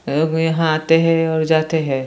लोग यहाँ आते है और जाते है।